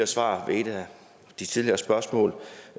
svar ved et af de tidligere spørgsmål